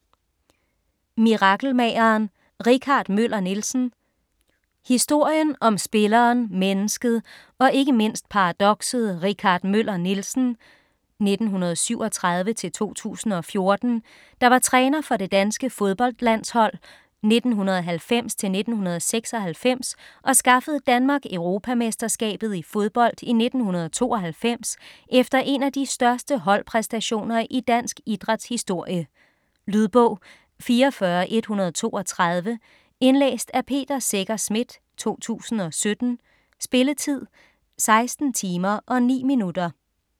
Mirakelmageren - Richard Møller Nielsen Historien om spilleren, mennesket og ikke mindst paradokset Richard Møller Nielsen (1937-2014), der var træner for det danske fodboldlandshold 1990-1996 og skaffede Danmark Europamesterskabet i fodbold i 1992 efter en af de største holdpræstationer i dansk idræts historie. Lydbog 44132 Indlæst af Peter Secher Schmidt, 2017. Spilletid: 16 timer, 9 minutter.